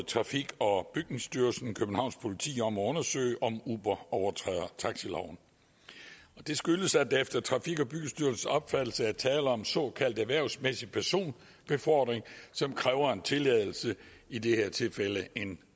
trafik og byggestyrelsen københavns politi om at undersøge om uber overtrådte taxiloven og det skyldtes at der efter trafik og byggestyrelsens opfattelse var tale om såkaldt erhvervsmæssig personbefordring som kræver en tilladelse i det her tilfælde en